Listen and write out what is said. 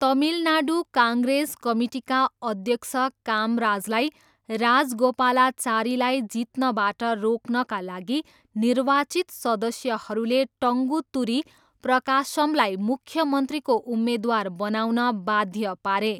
Tamil Nadu Congress कमिटीका अध्यक्ष कामराजलाई राजगोपालाचारीलाई जित्नबाट रोक्नका लागि निर्वाचित सदस्यहरूले टङ्गुतुरी प्रकाशमलाई मुख्यमन्त्रीको उम्मेदवार बनाउन बाध्य पारे।